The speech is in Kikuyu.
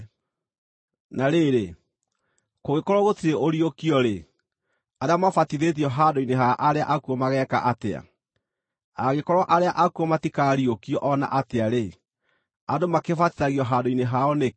Na rĩrĩ, kũngĩkorwo gũtirĩ ũriũkio-rĩ, arĩa mabatithĩtio handũ-inĩ ha arĩa akuũ mageeka atĩa? Angĩkorwo arĩa akuũ matikaariũkio o na atĩa-rĩ, andũ makĩbatithagio handũ-inĩ hao nĩkĩ?